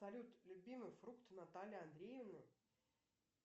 салют любимый фрукт натальи андреевны